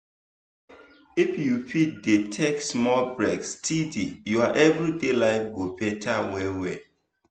if you fit dey take small breaks steady your everyday life go better well well.